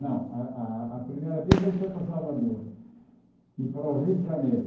Não, a a a primeira vez ele foi para Salvador e para o Rio de Janeiro.